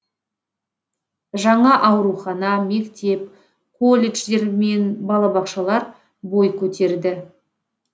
жаңа аурухана мектеп колледждер мен балабақшалар бой көтерді